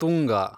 Tunga